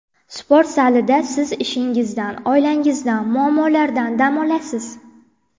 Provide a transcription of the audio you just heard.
Sport zalida siz ishingizdan, oilangizdan, muammolardan dam olasiz.